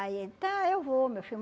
Aí ele, tá, eu vou, meu filho.